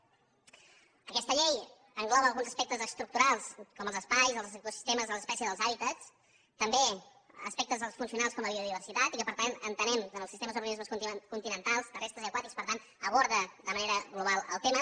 aquesta llei engloba alguns aspectes estructurals com els espais els ecosistemes les espècies i els hàbitats també aspectes funcionals com la biodiversitat i per tant entenem que en els sistemes d’organismes continentals terrestres i aquàtics per tant aborda de manera global el tema